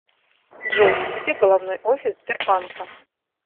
джой где головной офис сбербанка